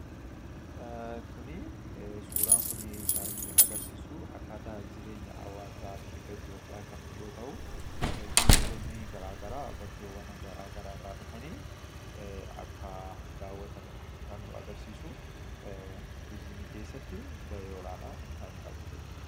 Suuraan kun kan inni agarsiisu akkaataa jireenya hawaasaa fi turizimii nutti agarsiisa.